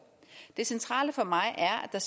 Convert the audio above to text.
er